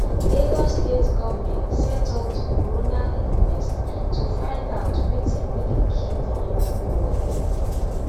lagos state goment set up di coroner inquest to find out wetin really kill di young boy